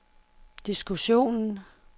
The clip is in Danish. diskussionen